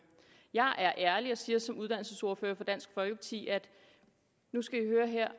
jeg er ærlig og siger som uddannelsesordfører for dansk folkeparti nu skal i høre her